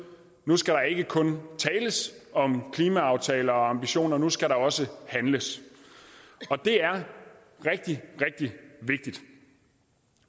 nu skal der ikke kun tales om klimaaftaler og ambitioner nu skal der også handles det er rigtig rigtig vigtigt